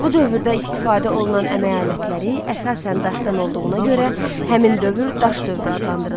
Bu dövrdə istifadə olunan əmək alətləri əsasən daşdan olduğuna görə, həmin dövr daş dövrü adlandırılır.